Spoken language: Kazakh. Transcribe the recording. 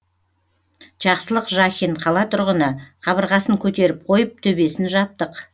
жақсылық жахин қала тұрғыны қабырғасын көтеріп қойып төбесін жаптық